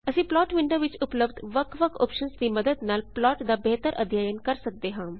ਅਸੀਂ plot window ਵਿੱਚ ਉਪਲਬਧ ਵਖ ਵਖ ਔਪਸ਼ਨਜ਼ ਦੀ ਮਦਦ ਨਾਲ ਪਲਾਟ ਦਾ ਬੇਹਤਰ ਅਧਿਅੱਨ ਕਰ ਸਕਦੇ ਹਾਂ